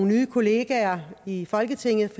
nye kollegaer i folketinget at